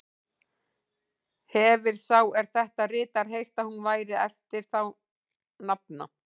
Hefir sá, er þetta ritar, heyrt, að hún væri eftir þá nafna